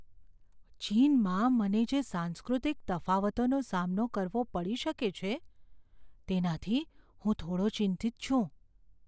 ચીનમાં મને જે સાંસ્કૃતિક તફાવતોનો સામનો કરવો પડી શકે છે, તેનાથી હું થોડો ચિંતિત છું.